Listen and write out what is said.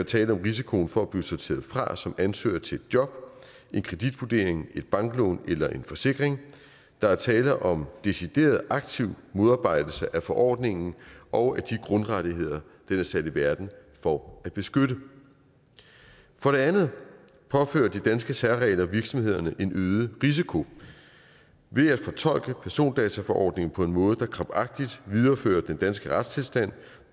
tale om risikoen for at blive sorteret fra som ansøger til et job en kreditvurdering et banklån eller en forsikring der er tale om decideret aktiv modarbejdelse af forordningen og af de grundrettigheder den er sat i verden for at beskytte for det andet påfører de danske særregler virksomhederne en øget risiko ved at fortolke persondataforordningen på en måde der krampagtigt viderefører den danske retstilstand